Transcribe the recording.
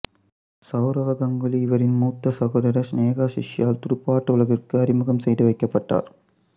சௌரவ் கங்குலி இவரின் மூத்த சகோதரர் சினேஹாசிஷால் துடுப்பாட்ட உலகத்திற்கு அறிமுகம் செய்துவைக்கப்பட்டார்